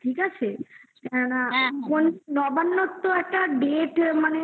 ঠিক আছে কেন না নবান্ন তো একটা date